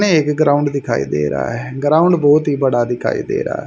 में एक ग्राउंड दिखाई दे रहा है ग्राउंड बहोत ही बड़ा दिखाई दे रहा--